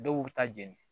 Dɔw bɛ taa jeni